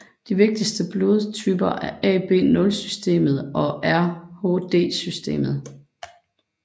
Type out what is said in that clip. De vigtigste blodtyper er AB0systemet og RhDsystemet